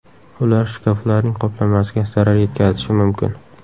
Ular shkaflarning qoplamasiga zarar yetkazishi mumkin.